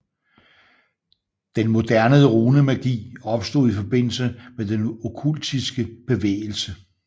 Den moderne runemagi opstod i forbindelse med den okkultiske bevægelse